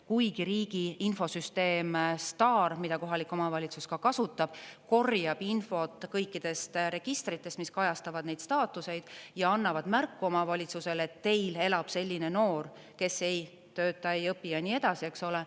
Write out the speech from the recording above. Kuigi riigi infosüsteem STAR, mida kohalik omavalitsus kasutab, korjab infot kõikidest registritest, mis kajastavad neid staatuseid, ja annavad märku omavalitsusele, teil elab selline noor, kes ei tööta, ei õpi ja nii edasi, eks ole.